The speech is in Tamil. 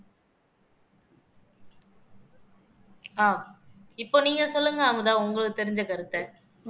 ஆஹ் இப்ப நீங்க சொல்லுங்க அமுதா உங்களுக்கு தெரிஞ்ச கருத்தை